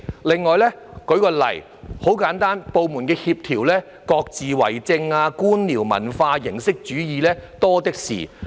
另外，很簡單，部門在協調方面各自為政，官僚文化、形式主義多的是。